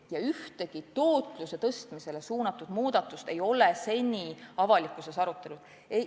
Ja ühtegi tootluse suurendamisele suunatud muudatust ei ole seni avalikkuses arutatud.